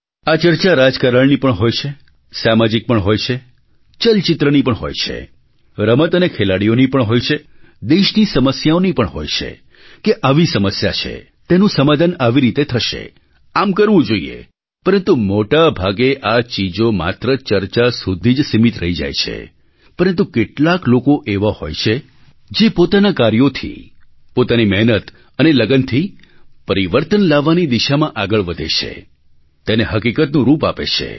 આ ચર્ચા રાજકારણની પણ હોય છે સામાજિક પણ હોય છે ચલચિત્રની પણ હોય છે રમત અને ખેલાડીઓની પણ હોય છે દેશની સમસ્યાઓની પણ હોય છે કે આવી સમસ્યા છે તેનું સમાધાન આવી રીતે થશે આમ કરવું જોઈએ પરંતુ મોટા ભાગે આ ચીજો માત્ર ચર્ચા સુધી જ સીમિત રહી જાય છે પરંતુ કેટલાક લોકો એવા હોય છે જે પોતાનાં કાર્યોથી પોતાની મહેનત અને લગનથી પરિવર્તન લાવવાની દિશામાં આગળ વધે છે તેને હકીકતનું રૂપ આપે છે